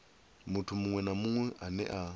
muthu muṅwe na muṅwe ane